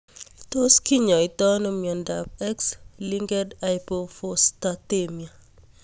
Tos kinyaitoi ano miondop X linked hypophosphatemia?